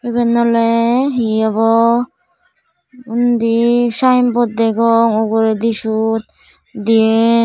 iben oley hi obo undi sayenbot degong uguredi syot diyen.